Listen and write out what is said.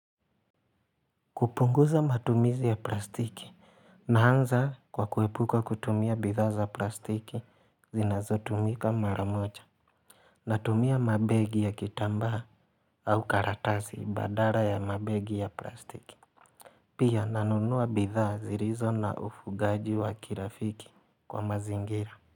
Kupunguza matumizi ya plastiki naanza kwa kuepuka kutumia bidhaa za plastiki zinazotumika mara moja Natumia mabegi ya kitambaa au karatasi badala ya mabegi ya plastiki Pia nanunua bidha zilizo na ufungaji wa kirafiki kwa mazingira.